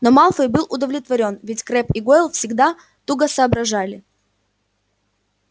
но малфой был удовлетворён ведь крэбб и гойл всегда туго соображали